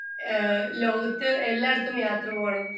speaker 2 ലോകത്തു എല്ലാടത്തും യാത്ര പോകണം